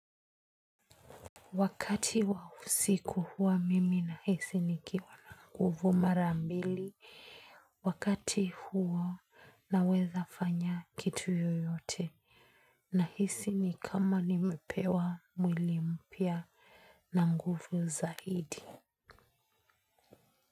Wakati wa usiku huwa mimi nahisi nikiwa na nguvu mara mbili. Wakati huo naweza fanya kitu yoyote. Nahisi ni kama nimepewa mwili mpya na nguvu zaidi.